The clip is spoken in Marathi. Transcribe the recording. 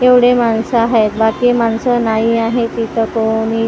एवढी माणसं आहेत. बाकी माणसं नाही आहे इथं कोणी.